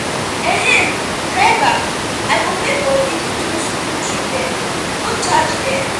um driver i go pay for dis two school children no charge dem